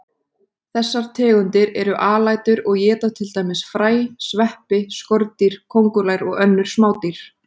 Þessar tegundir eru alætur og éta til dæmis fræ, sveppi, skordýr, kóngulær og önnur smádýr.